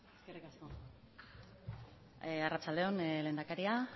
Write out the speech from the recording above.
eskerrik asko arratsalde on lehendakaria